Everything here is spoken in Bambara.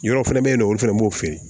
Yɔrɔ fɛnɛ be yen nɔ olu fɛnɛ b'o feere